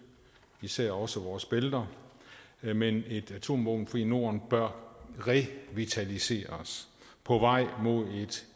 især også vores bælter men et atomvåbenfrit norden bør revitaliseres på vej mod et